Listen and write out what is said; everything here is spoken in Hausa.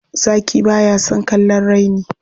Zaki ba ya son kallon raini.